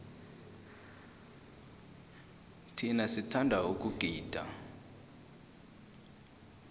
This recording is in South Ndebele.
thina sithanda ukugida